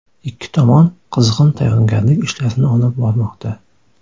Ikki tomon qizg‘in tayyorgarlik ishlarini olib bormoqda.